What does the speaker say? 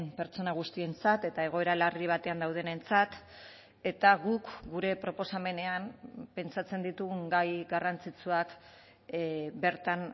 pertsona guztientzat eta egoera larri batean daudenentzat eta guk gure proposamenean pentsatzen ditugun gai garrantzitsuak bertan